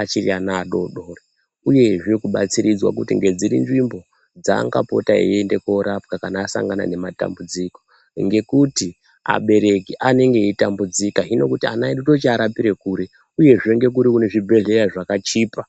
achiri adodori uyezve kubatsiridzwa kuti ngedziri nzvimbo dzaangapota eiende korapwa kana asangana nematambudziko, ngekuti abereki anenge aitambudzika hino kuti ana edu tochiarapira kuri uyezve ngekuri kune zvibhedhlera zvakachipa.